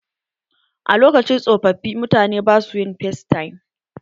A lokacin tsofaffi, mutane ba su yin facetime.